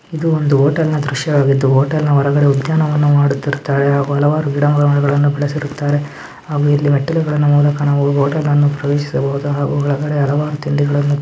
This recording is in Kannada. ಇದು ಒಂದು ಹೋಟೆಲ್ ನ ದ್ರಶ್ಯವಾಗಿದ್ದು ಹೋಟೆಲ್ ನ ಹೊರಗಡೆ ಉದ್ಯಾನವನ ಮಾಡುರ್ತಿರ್ತಾರೆ. ಹಾಗು ಹಲವಾರು ಗಿಡ ಮರಗಳವನ್ನು ಬೆಳಸಿರುತ್ತಾರೆ. ಆಮೇಲೆ ಇಲ್ಲಿ ಮೆಟ್ಟಲಾಗಳನ್ನು ಕಾಣಬಹುದು ಹೋಟೆಲ್ ನ ಪ್ರವೇಶಿಸಿ ತಿಂಡಿಗಲ್ಲನ್ನು--